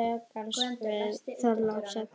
rekans við Þorlákshöfn.